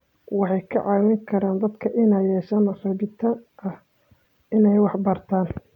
Waxay ka caawin karaan dadka inay yeeshaan rabitaan ah inay wax bartaan.